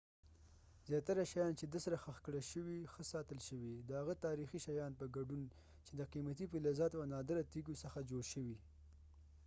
زیاتره شیان چې د tutankhamun سره خښ کړای شوي ښه ساتل شوي د هغه تاریخي شیانو په ګډون چې د قیمتي فلزاتو او نادره تیږو څخه جوړ شوي